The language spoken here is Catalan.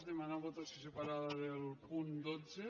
demanar votació separada del punt dotze